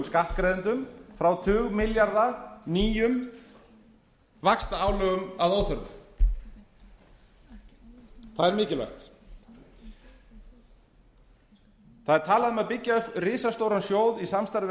skattgreiðendum frá tugmilljarða nýjum vaxtaálögum að óþörfu það er mikilvægt það er talað um að byggja upp risastóran sjóð í samstarfi við